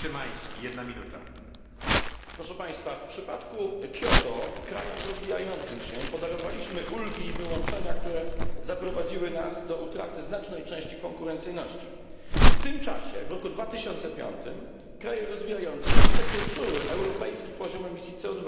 Panie przewodniczący! W przypadku Kioto krajom rozwijającym się podarowaliśmy ulgi i wyłączenia, które zaprowadziły nas do utraty znacznej części konkurencyjności. W tym czasie w roku 2005 kraje rozwijające przekroczyły europejski poziom emisji CO